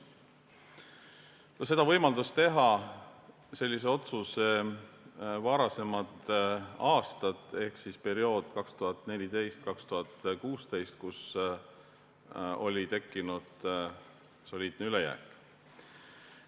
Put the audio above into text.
Sellist otsust võimaldasid teha varasemad aastad ehk periood 2014–2016, kui oli tekkinud soliidne ülejääk.